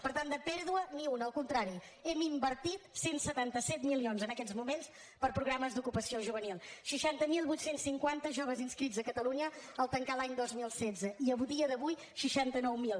per tant de pèrdua ni una al contrari hem invertit cent i setanta set milions en aquests moments per a programes d’ocupació juvenil seixanta mil vuit cents i cinquanta joves inscrits a catalunya al tancar l’any dos mil setze i a dia d’avui seixanta nou mil